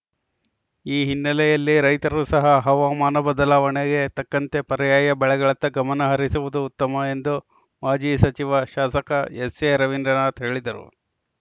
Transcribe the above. ಈ ಹಿನ್ನೆಲೆಯಲ್ಲಿ ರೈತರು ಸಹ ಹವಾಮಾನ ಬದಲಾವಣೆಗೆ ತಕ್ಕಂತೆ ಪರ್ಯಾಯ ಬೆಳೆಗಳತ್ತ ಗಮನ ಹರಿಸುವುದು ಉತ್ತಮ ಎಂದು ಮಾಜಿ ಸಚಿವ ಶಾಸಕ ಎಸ್‌ಎರವೀಂದ್ರನಾಥ್‌ ಹೇಳಿದರು